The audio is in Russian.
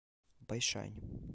байшань